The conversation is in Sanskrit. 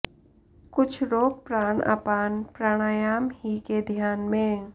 कुछ रोक प्राण अपान प्राणायाम ही के ध्यान में